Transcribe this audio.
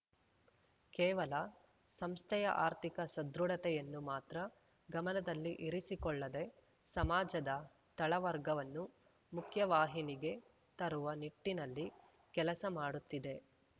ಕೇವಲ ಸಂಸ್ಥೆಯ ಆರ್ಥಿಕ ಸದೃಢತೆಯನ್ನು ಮಾತ್ರ ಗಮನದಲ್ಲಿ ಇರಿಸಿಕೊಳ್ಳದೆ ಸಮಾಜದ ತಳವರ್ಗವನ್ನು ಮುಖ್ಯವಾಹಿನಿಗೆ ತರುವ ನಿಟ್ಟಿನಲ್ಲಿ ಕೆಲಸ ಮಾಡುತ್ತಿದೆ